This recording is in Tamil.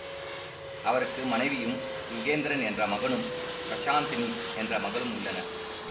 அவருக்கு மனைவியும் யுகேந்திரன் என்ற மகனும் பிரசாந்தினி என்ற மகளும் உள்ளனர்